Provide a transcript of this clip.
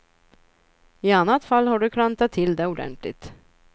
I annat fall har du klantat till det ordentligt.